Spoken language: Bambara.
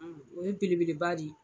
O ye belebeleba di